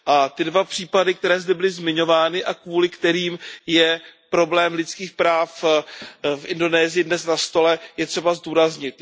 Ty dva případy, které zde byly zmiňovány a kvůli kterým je problém lidských práv v Indonésii dnes na stole, je třeba zdůraznit.